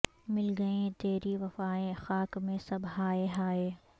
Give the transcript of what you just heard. مل گئیں تیری وفائیں خاک میں سب ہائے ہائے